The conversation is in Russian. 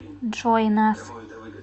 джой нас